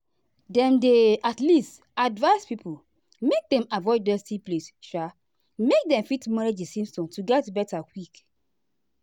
dem dey um advise pipo make dem avoid dusty place um make dem fit manage di symptoms to get beta quick.